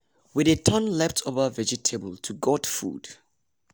we dey turn leftover vegetable to goat food.